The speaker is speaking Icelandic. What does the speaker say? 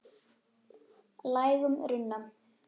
lægum runna.